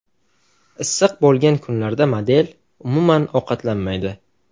Issiq bo‘lgan kunlarda model, umuman, ovqatlanmaydi.